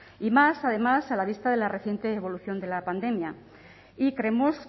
y más además a la vista de la reciente evolución de la pandemia y creemos